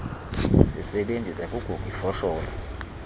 sisebenzisa kugug ifosholo